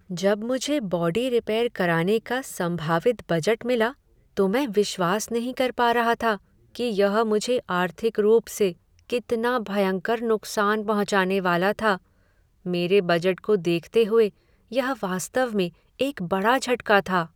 जब मुझे body repair कराने का संभावित बजट मिला तो मैं विश्वास नहीं कर पा रहा रहा था कि यह मुझे आर्थिक रूप से कितना भयंकर नुक्सान पहुँचाने वाला था। मेरे बजट को देखते हुए यह वास्तव में एक बड़ा झटका था।